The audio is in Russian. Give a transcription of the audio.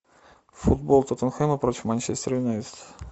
футбол тоттенхэма против манчестер юнайтед